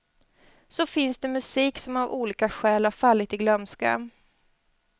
Så finns det musik som av olika skäl har fallit i glömska.